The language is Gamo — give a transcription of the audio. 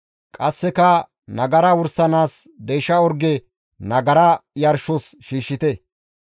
Qasseka nagara wursanaas deysha orge nagara yarshos shiishshite.